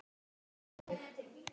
En hvað með þig.